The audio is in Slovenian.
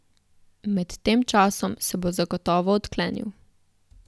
Med tem časom se bo zagotovo odklenil.